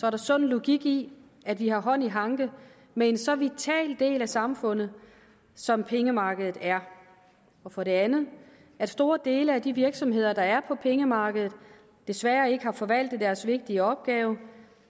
er sund logik i at vi har hånd i hanke med en så vital del af samfundet som pengemarkedet er og for det andet at store dele af de virksomheder der er på pengemarkedet desværre ikke har forvaltet deres vigtige opgave